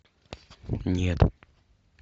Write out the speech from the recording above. нет